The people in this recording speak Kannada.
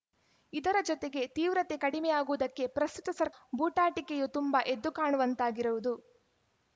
ಇದರ ಜೊತೆಗೆ ತೀವ್ರತೆ ಕಡಿಮೆಯಾಗುವುದಕ್ಕೆ ಪ್ರಸ್ತುತ ಸರ್ ಬೂಟಾಟಿಕೆಯೂ ತುಂಬ ಎದ್ದುಕಾಣುವಂತಾಗಿರುವುದು